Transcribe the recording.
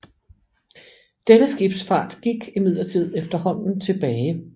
Denne skibsfart gik imidlertid efterhånden tilbage